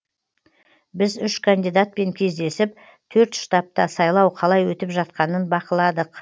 біз үш кандидатпен кездесіп төрт штабта сайлау қалай өтіп жатқанын бақыладық